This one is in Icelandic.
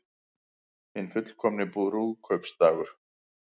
Hinn fullkomni brúðkaupsdagur